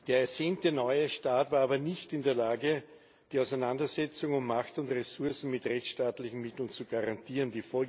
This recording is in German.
Der ersehnte neue Staat war aber nicht in der Lage, die Auseinandersetzung um Macht und Ressourcen mit rechtsstaatlichen Mitteln zu garantieren.